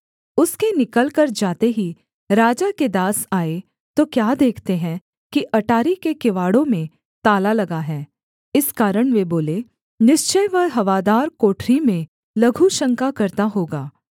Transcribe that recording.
उसके निकलकर जाते ही राजा के दास आए तो क्या देखते हैं कि अटारी के किवाड़ों में ताला लगा है इस कारण वे बोले निश्चय वह हवादार कोठरी में लघुशंका करता होगा